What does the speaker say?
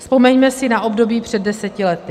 Vzpomeňme si na období před deseti lety.